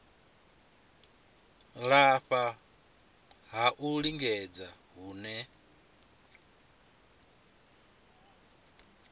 lafha ha u lingedza hune